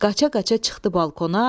Qaçaqaça çıxdı balkona.